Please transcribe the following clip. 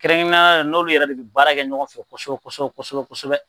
Kɛrɛnkɛrɛnnenya la n'olu yɛrɛ de bɛ baara kɛ ɲɔgɔn fɛ kosɛbɛ kosɛbɛ kosɛbɛ.